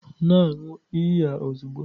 Na-aṅụ iyi a ozugbo!